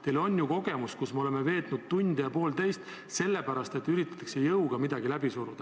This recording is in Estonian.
Teil on ju varasemast kogemus, kus me oleme veetnud tund ja poolteist vaieldes, sest midagi üritatakse jõuga läbi suruda.